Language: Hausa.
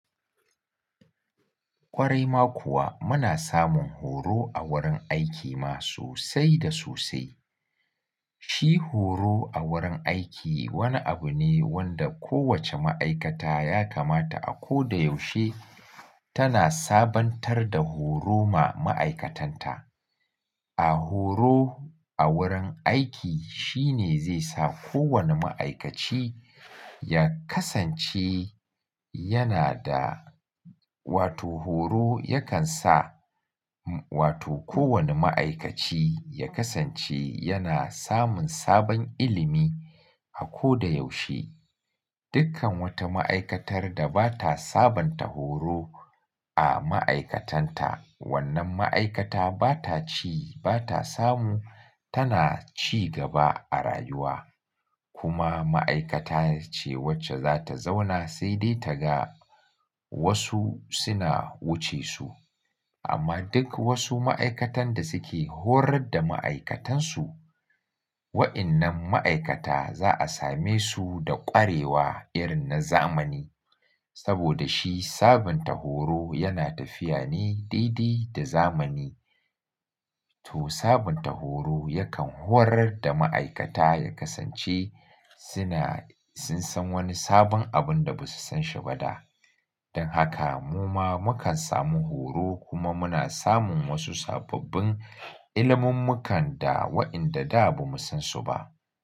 Ƙwarai ma kuwa muna samun horo a wurin aiki ma sosai da sosai. Shi horo a wurin aiki wani abu ne wanda kowace ma'aikata ya kamata a ko da yaushe tana sabantar da horo ma ma'aikatanta. A horo a wurin aiki shine zai sa kowane ma'aikaci ya kasance yana da, wato horo yakan sa wato kowane ma'aikaci ya kasance yana samun sabon ilimi a ko da yaushe. Dukkan wata ma'aikatar da ba ta sabanta horo a ma'aikatanta, wannan ma'aikata ba ta ci, ba ta samu tana ci gaba a rayuwa. Kuma ma'aikata ce wacce za ta zauna sai dai ta ga wasu suna wuce su. Amma duk wasu ma'aikatan da suke horar da ma'aikatansu, waɗannan ma'aikata za a same su da ƙwarewa irin na zamani. Saboda shi sabunta horo yana tafiya ne daidai da zamani. To sabunta horo yakan horar da ma'aikata ya kasance suna, sun san wani sabon abin da ba su san shi ba da. Don haka mu ma mukan samu horo kuma muna samun wasu sababbin ilimin mukan da waɗanda da ba mu san su ba.